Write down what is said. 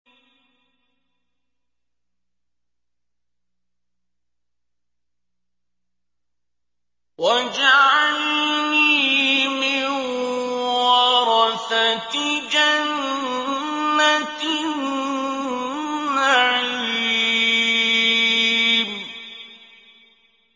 وَاجْعَلْنِي مِن وَرَثَةِ جَنَّةِ النَّعِيمِ